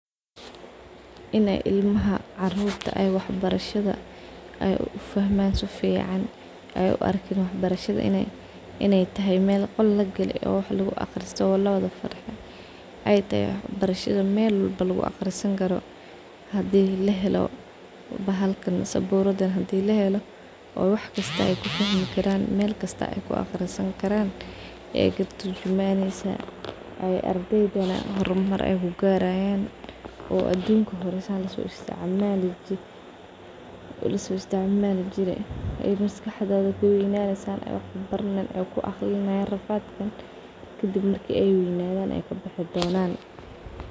In ay ilamaha carurta ay wax barasha ay ufahman si fican ay uarkin wax barshada in ay tahay mel qol lagale wax luguaqrsite luguwada farxo , waxay kuturjumwysaah in waxbarashada hadi saburad lahelo mel kasta wax lugu barani karo , tas ay aqligodha galineysaah carurta , muhimada wa tas . carurta waxaa larawah in asas lofahansiyo kadib marki ay waweynadan ay kabixi donan.